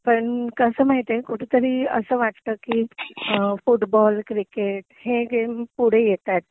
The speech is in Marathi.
पण कसं माहितीए कुठंतरी असं वाटत कि फुटबॉल, क्रिकेट हे गेम पुढे येतायत